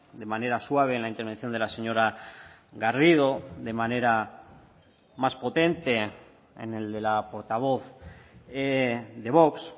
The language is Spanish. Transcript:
de manera suave en la intervención de la señora garrido de manera más potente en el de la portavoz de vox